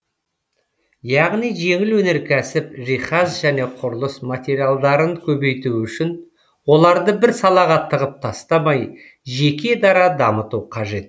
яғни жеңіл өнеркәсіп жиһаз және құрылыс материалдарын көбейту үшін оларды бір салаға тығып тастамай жеке дара дамыту қажет